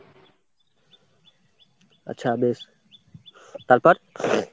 আচ্ছা বেশ তারপর